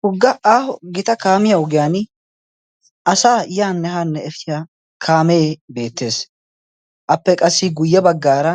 Hugga aaho gita kaamiya ogiyan asa yaan nehaanne efitiya kaamee beettees. Appe qassi guyye baggaara